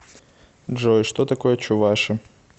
джой что такое чуваши